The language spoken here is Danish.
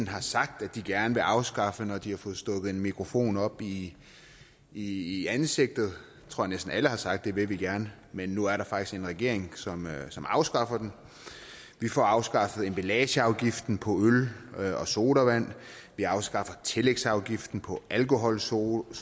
har sagt de gerne vil afskaffe når de har fået stukket en mikrofon op i i ansigtet jeg tror at næsten alle har sagt at det vil de gerne men nu er der faktisk en regering som afskaffer den vi får afskaffet emballageafgiften på øl og sodavand vi afskaffer tillægsafgiften på alkoholsodavand